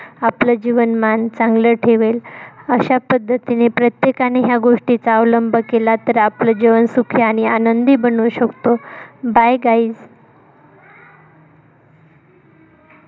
आपलं जीवनमान चांगल ठेवेल अश्या पद्धतीने प्रत्येकाने या गोष्टीचा अवलंब केला तर आपलं जीवन सुखी आणि आनंदी बनवू शकतो. bye guys